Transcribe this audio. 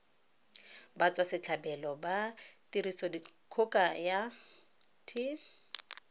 batswasetlhabelo ba tirisodikgoka ya t